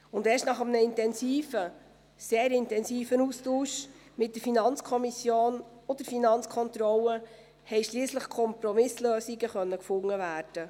Und erst nach einem intensiven, sehr intensiven Austausch mit der FiKo und der FK konnten schliesslich Kompromisslösungen gefunden werden.